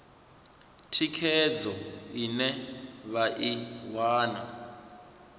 thikhedzo ine vha i wana